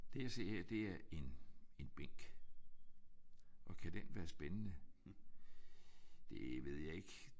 Det jeg ser her det er en en bænk. Og kan den være spændende? Det ved jeg ikke